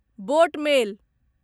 boat मेल